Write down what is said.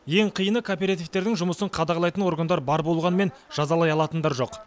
ең қиыны кооперативтердің жұмысын қадағалайтын органдар бар болғанымен жазалай алатындар жоқ